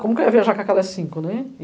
Como que eu ia viajar com aquelas cinco, né?